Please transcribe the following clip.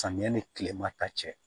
Samiya ni tilema ta cɛ